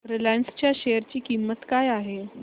Reliance च्या share ची किंमत काय आहे